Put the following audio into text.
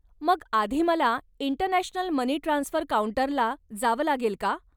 मग आधी मला इंटरनॅशनल मनी ट्रान्सफर काऊंटरला जावं लागेल का?